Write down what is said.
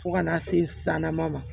Fo ka n'a se san nama ma